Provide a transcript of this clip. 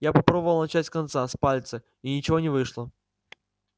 я попробовал начать с конца с пальца и ничего не вышло